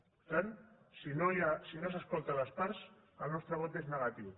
per tant si no s’escolten les parts el nostre vot és negatiu